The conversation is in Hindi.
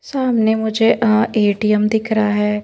सामने मुझे अअए_टी_एम दिख रहा है।